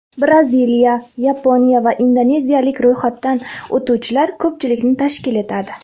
Braziliya, Yaponiya va indoneziyalik ro‘yxatdan o‘tuvchilar ko‘pchilikni tashkil etadi.